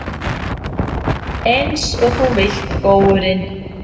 Einsog þú vilt, góurinn.